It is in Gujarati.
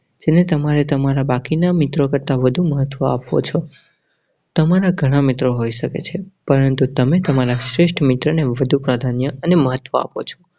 સિને તમારે તમારા બાકીના મિત્રો કરતા વધુ મહત્વ આપો છો. તમારા ઘણા મિત્રો હોઈ શકે છે, પરંતુ તમે તમારા શ્રેષ્ઠ મિત્રને વધુ પ્રાધાન્ય અને મહત્વ આપો છો.